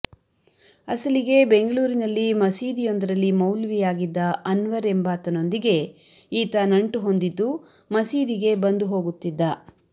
ಆಸಲಿಗೆ ಬೆಂಗಳೂರಿನಲ್ಲಿ ಮಸೀದಿಯೊಂದರಲ್ಲಿ ಮೌಲ್ವಿಯಾಗಿದ್ದ ಅನ್ವರ್ ಎಂಬಾತನೊಂದಿಗೆ ಈತ ನಂಟು ಹೊಂದಿದ್ದು ಮಸೀದಿಗೆ ಬಂದು ಹೋಗುತ್ತಿದ್ದ